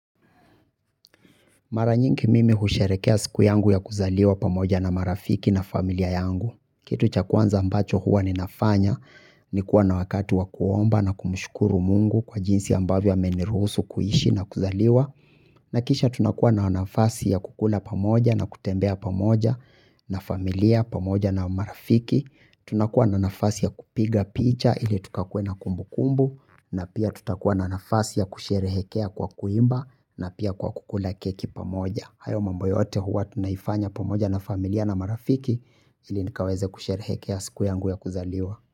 Mara nyingi mimi husherehekea siku yangu ya kuzaliwa pamoja na marafiki na familia yangu. Kitu cha kwanza ambacho huwa ninafanya. Nikuwa na wakati wa kuomba na kumshukuru mungu kwa jinsi ambavyo ameniruhusu kuishi na kuzaliwa. Na kisha tunakuwa na wanafasi ya kukula pamoja na kutembea pamoja na familia pamoja na marafiki. Tunakuwa na nafasi ya kupiga picha ili tukakuwe na kumbukumbu. Na pia tutakuwa na nafasi ya kusherehekea kwa kuimba na pia kwa kukula keki pamoja hayo mambo yote huwa tunaifanya pamoja na familia na marafiki ili nikaweze kusherehekea siku yangu ya kuzaliwa.